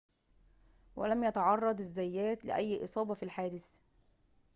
ولم يتعرض الزيات لأي إصابة في الحادث